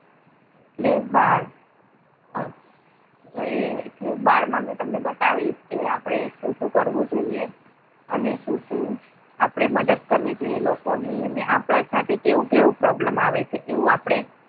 એટલે બાળ એટલે બાળ માં હું તમને બતાવીશ કે આપણે સુ સુ કરવું જોઈએ? અને શું શું આપણે મદદ કરવી જોઈએ લોકોની? અને આપણે સાથે કેવું કેવું problem આવે એવું આપણે